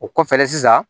O kɔfɛ sisan